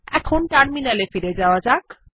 এই কমান্ড টি ব্যবহার করে দেখা যাক